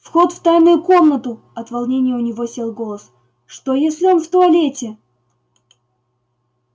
вход в тайную комнату от волнения у него сел голос что если он в туалете